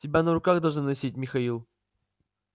тебя на руках должны носить михаил